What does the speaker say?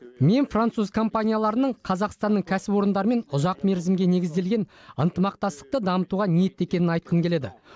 мен француз компанияларының қазақстанның кәсіпорындарымен ұзақ мерзімге негізделген ынтымақтастықты дамытуға ниетті екенін айтқым келеді